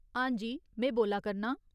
हांजी, में बोल्ला करनां।